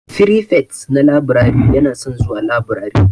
Firifet na laburare yana son zuwa laburare.